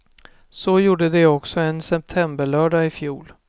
Så gjorde de också en septemberlördag i fjol.